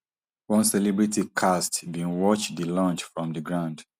one celebrity cast bin watch di launch from di ground